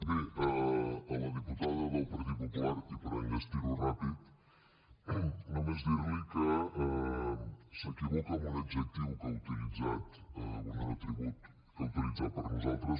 bé a la diputada del partit popular i per enllestir ho ràpid només dir li que s’equivoca en un adjectiu que ha utilitzat bé un atribut que ha utilitzat per a nosaltres